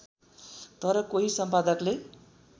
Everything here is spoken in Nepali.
तर कोही सम्पादकले